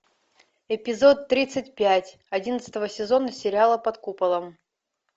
эпизод тридцать пять одиннадцатого сезона сериала под куполом